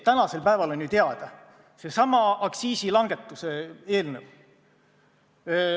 Tänasel päeval on ju teada seesama aktsiisilangetuse eelnõu.